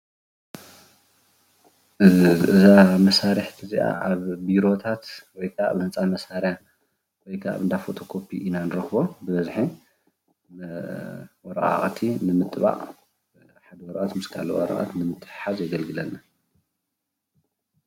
እዛ መሳርሒት እዚኣ ኣብ ቢሮታት ወይ ከዓ እንዳ ህንፃ ማሰርያ ወይ ከዓ ኣብ እንዳ ፎቶ ኮፒ እና ንረክቦ ብበዝሒ ወረቃቅቲ ንምጥባቅ ሓደ ወረቀት ምስ ካሊእ ወረቀት ንምትሕሓዝ የገልግለና፡፡